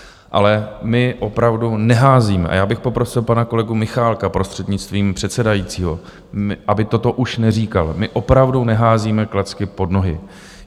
Ale my opravdu neházíme - a já bych poprosil pana kolegu Michálka, prostřednictvím předsedajícího, aby toto už neříkal - my opravdu neházíme klacky pod nohy.